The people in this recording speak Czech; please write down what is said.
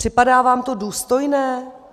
Připadá vám to důstojné?